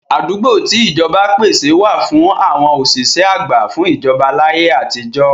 Àdúgbò tí ìjọba pèsè wà fún àwọn òṣìṣẹ́ àgbà fún ìjọba láyé àtijọ́.